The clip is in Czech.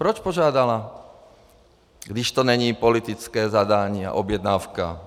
Proč požádala, když to není politické zadání a objednávka?